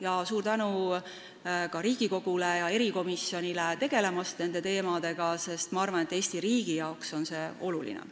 Ja suur tänu ka Riigikogule ja probleemkomisjonile nende teemadega tegelemise eest, sest ma arvan, et Eesti riigile on see oluline.